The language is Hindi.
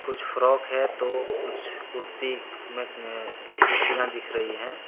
कुछ फ्रॉक है तो कुछ कुर्ती कुर्तियां दिख रही है।